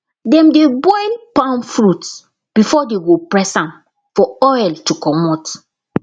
dem dey boil palm fruits before dey go press am for oil to comot